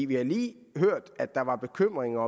vi har lige hørt at der var bekymringer